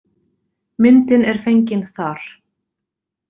Myndin er fengin þar.